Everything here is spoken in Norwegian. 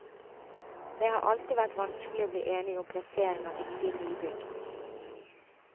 Det har alltid vært vanskelig å bli enig om plassering av viktige nybygg.